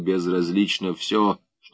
безразлично всё